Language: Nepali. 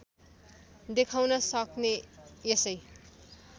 देखाउन सक्ने यसै